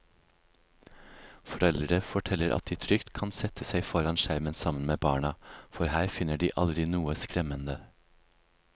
Foreldre forteller at de trygt kan sette seg foran skjermen sammen med barna, for her finner de aldri noe skremmende.